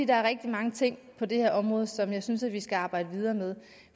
der er rigtig mange ting på det her område som jeg synes vi skal arbejde videre med